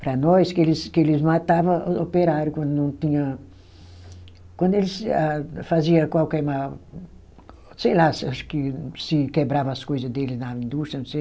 para nós, que eles, que eles matava operário quando não tinha, quando eles ah, fazia qualquer mal. Sei lá, acho que se quebrava as coisas deles na indústria, não sei.